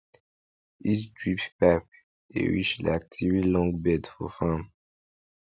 each drip pipe dey reach like three long bed for farm